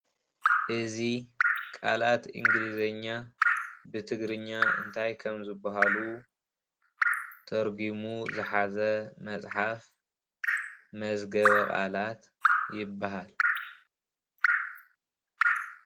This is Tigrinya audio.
እዚ ቃላት እንግሊዘኛ ብትግርኛ እንታይ ከም ዝባሃሉ ተርጉሙ ዝሓዘ መፅሓፍ መዝገበ ቃላት ይባሃል፡፡